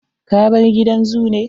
Ka bar gidan zoo ne?